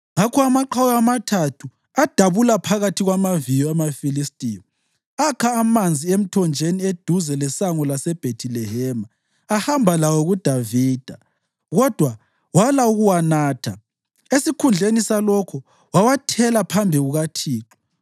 Ngakho amaqhawe amathathu adabula phakathi kwamaviyo amaFilistiya, akha amanzi emthonjeni eduze lesango laseBhethilehema ahamba lawo kuDavida. Kodwa wala ukuwanatha, esikhundleni salokho wawathela phambi kukaThixo.